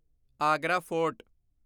Agra fort